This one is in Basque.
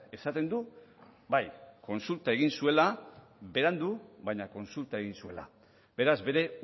esaten du bai kontsulta egin zuela berandu baina kontsulta egin zuela beraz bere